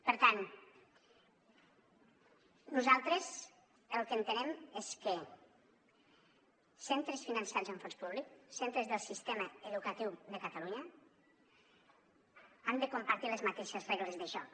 per tant nosaltres el que entenem és que centres finançats amb fons públic centres del sistema educatiu de catalunya han de compartir les mateixes regles de joc